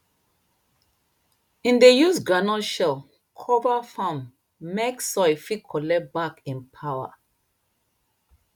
im dey use groundnut shell cover farm mek soil fit collect back im power